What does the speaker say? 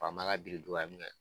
Faama ka biriduga minɛ